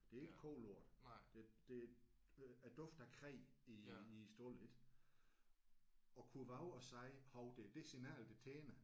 Det er ikke kolort det det øh duften af kræ i i stalden ik. At kunne vove at sige hov det er det signal det tænder